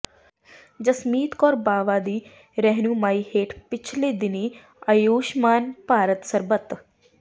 ਜਸਮੀਤ ਕੌਰ ਬਾਵਾ ਦੀ ਰਹਿਨੁਮਾਈ ਹੇਠ ਪਿਛਲੇ ਦਿਨ੍ਹੀਂ ਆਯੂਸ਼ਮਾਨ ਭਾਰਤ ਸਰਬਤ